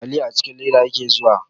Taliya a cikin leda yake zuwa.